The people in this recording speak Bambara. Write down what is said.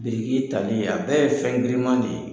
Biriki tali a bɛɛ ye fɛn grinman de ye.